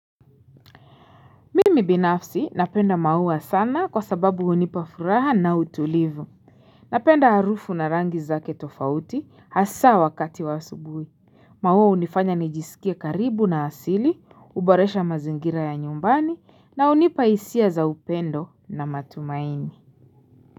Mimi binafsi napenda maua sana kwasababu unipafuraha na utulivu Napenda harufu na rangi zake tofauti hasa wakati wa subuhi maua unifanya nijisikie karibu na asili, uboresha mazingira ya nyumbani na unipahisia za upendo na matumaini.